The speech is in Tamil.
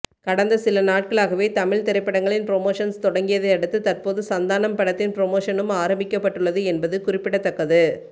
கடந்த சில நாட்களாகவே தமிழ் திரைப்படங்களின் புரோமோஷனல் தொடங்கியதை அடுத்து தற்போது சந்தானம் படத்தின் புரமோஷனும் ஆரம்பிக்கப்பட்டுள்ளது என்பது குறிப்பிடத்தக்கது